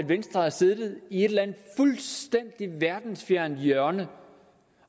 venstre har siddet i et eller andet fuldstændig verdensfjernt hjørne